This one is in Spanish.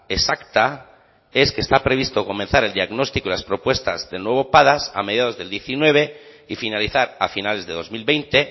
exacta es que está previsto comenzar el diagnóstico y las propuestas del nuevo padas a mediados del diecinueve y finalizar a finales de dos mil veinte